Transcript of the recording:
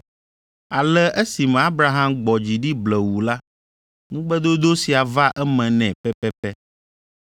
Ale, esime Abraham gbɔ dzi ɖi blewuu la, ŋugbedodo sia va eme nɛ pɛpɛpɛ.